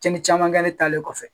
Cɛn ni camankɛre e talen kɔfɛ.